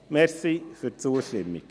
Vielen Dank für die Zustimmung.